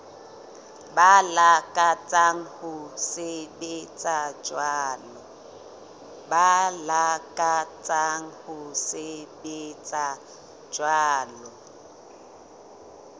ba lakatsang ho sebetsa jwalo